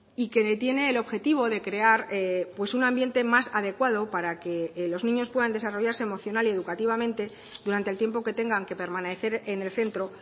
y que tiene el objetivo de crear un ambiente más adecuado para que los niños puedan desarrollarse emocional y educativamente durante el tiempo que tengan que permanecer en el centro